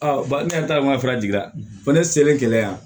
ba ne ta fara jigiya ko ne selen gɛlɛya